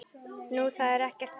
Nú, það er ekkert annað.